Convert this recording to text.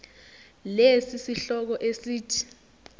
lesi sihloko esithi